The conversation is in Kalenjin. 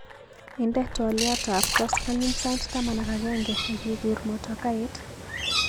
Inde twaliot ab koskoliny sait taman ak agenge akikur motokait.